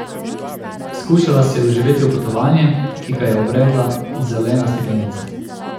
Skušala se je vživeti v potovanje, ki ga je obredla zelena steklenica.